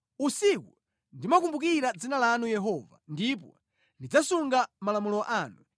Usiku ndimakumbukira dzina lanu Yehova, ndipo ndidzasunga malamulo anu.